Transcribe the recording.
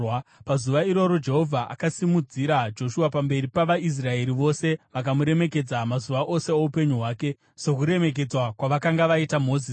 Pazuva iroro Jehovha akasimudzira Joshua pamberi pavaIsraeri vose; vakamuremekedza mazuva ose oupenyu hwake sokuremekedza kwavakanga vaita Mozisi.